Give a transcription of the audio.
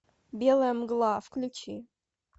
белая мгла включи